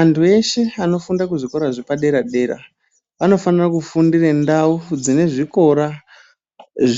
Antu eshe anofunda kuzvikora zvepaderadera anofanira kufundira ndau dzine zvikora